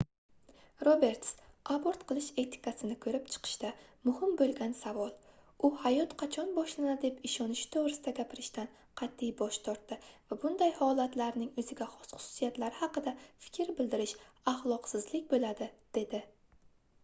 roberts abort qilish etikasini koʻrib chiqishda muhim boʻlgan savol u hayot qachon boshlanadi deb ishonishi toʻgʻrisida gapirishdan qatʼiy bosh tortdi va bunday holatlarning oʻziga xos xususiyatlari haqida fikr bildirish axloqsizlik boʻladi dedi